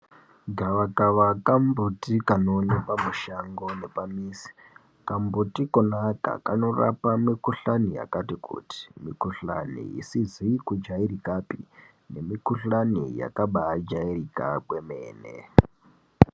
Gava kava kambuti kanoonekwa mushangomwo nepamizi kamuti Kona aka kanorapa mikuhlani yakati kuti mukuhlani isizi kujairikapi nemikuhlani yakabajairika kwemene.